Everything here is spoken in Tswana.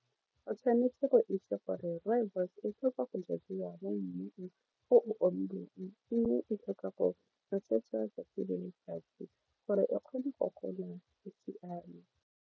O tshwanetse go itse gore rooibos e tlhoka go jadiwa mo mmung o o omileng eng e tlhoka go nosetsa 'tsatsi le letsatsi gore e kgone go gola e siame.